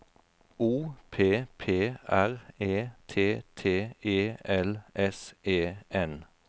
O P P R E T T E L S E N